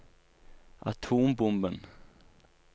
atombomben